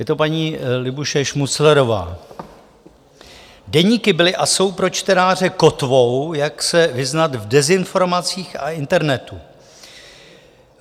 Je to paní Libuše Šmuclerová: "Deníky byly a jsou pro čtenáře kotvou, jak se vyznat v dezinformacích a internetu.